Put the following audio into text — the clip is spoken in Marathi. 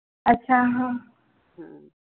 अच्छा. हां.